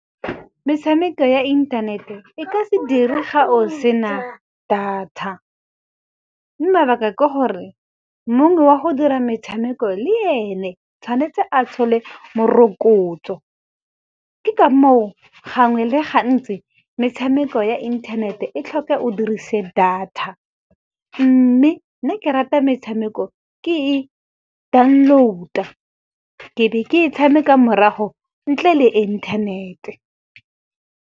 Metshameko ya inthanete e ka se dire ga o sena data, mabaka ke gore mong wa go dira metshameko le ene tshwanetse a thole morokotso. Ke ka moo gangwe le gantsi metshameko ya internet-e e tlhoka o dirise data. Mme nna ke rata metshameko ke e download-a, ke be ke e tshameka morago ntle le internet-e.